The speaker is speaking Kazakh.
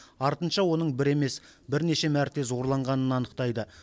артынша оның бір емес бірнеше мәрте зорланғанын анықтайды